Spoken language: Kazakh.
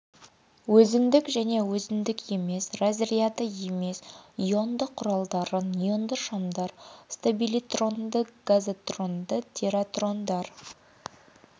өзіндік және өзіндік емес разряды емес ионды құралдары неонды шамдар стабилитрондар газотрондар тиратрондар